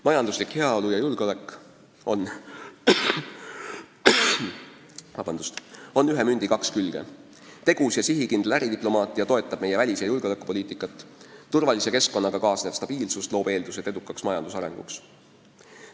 Majanduslik heaolu ja julgeolek on ühe mündi kaks külge: tegus ja sihikindel äridiplomaatia toetab meie välis- ja julgeolekupoliitikat, turvalise keskkonnaga kaasnev stabiilsus loob eeldused edukaks majandusarenguks.